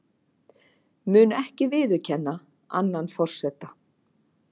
Mun ekki viðurkenna annan forseta